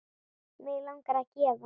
Mig langar að gefa.